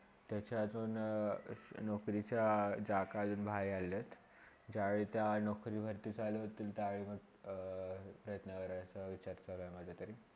त्याचा अजुन नोकरीचा जाकल नाय आलेले आहेत. जव्हे - त्या नोकरीवरती चालू होतील त्यावे मग त्याच्यावर विचार करेळ माझ्याकडे.